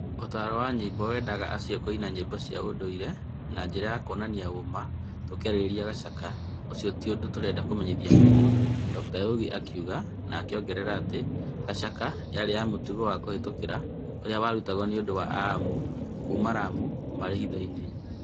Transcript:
ũtaaro wa nyĩmbo weendaga acio kũina nyĩmbo cia ũndũire na njĩra ya kũonania ũũma, tũkĩarĩrĩria Chakacha, ũcio ti ũndũ tũrenda kũmenyithia mũingĩ, Dr Oyugi akiuga na akĩongerera atĩ Chakacha yarĩ ya mũtugo wa kũhĩtũkĩra ũrĩa warũtagwo nĩ andũ a Amu kuuma Lamu marĩ hiitho-inĩ.